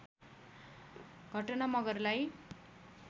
घटना मगरलाई